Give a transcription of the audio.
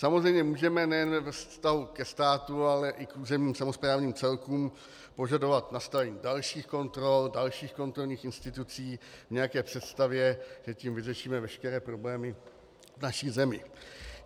Samozřejmě můžeme nejen ve vztahu ke státu, ale i k územním samosprávným celkům požadovat nastavení dalších kontrol, dalších kontrolních institucí v nějaké představě, že tím vyřešíme veškeré problémy v naší zemi.